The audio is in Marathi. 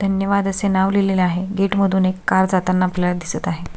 धन्यवाद असे नाव लिहलेले आहे गेट मधुन एक कार जाताना आपल्याला दिसत आहे.